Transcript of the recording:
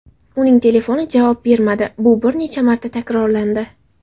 Uning telefoni javob bermadi, bu bir necha marta takrorlandi.